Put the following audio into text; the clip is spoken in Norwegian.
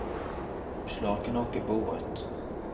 Vi slår ikke nok i bordet.